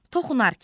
Toxunarkən.